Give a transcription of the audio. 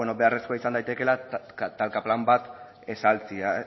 beharrezkoa izan daitekeela talka plan bat